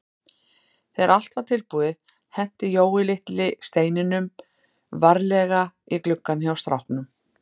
Þegar allt var tilbúið henti Jói litlu steinunum varlega í gluggann hjá stráknum.